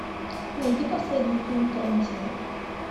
найди последний фильм тарантино